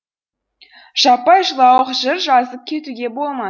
жаппай жылауық жыр жазып кетуге болма